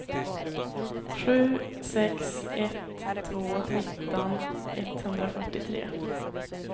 sju sex ett två nitton etthundrafyrtiotre